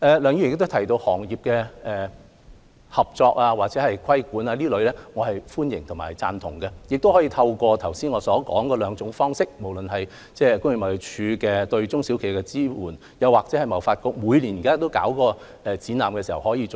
梁議員亦提到業內合作或規管，我是歡迎和贊同的，亦可以透過我剛才所述的兩種方式，即工業貿易署對中小企的支援，或香港貿易發展局每年舉辦的展覽，為這些企業提供支援。